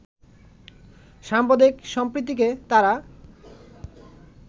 সাম্প্রদায়িক সম্প্রীতিকে তারা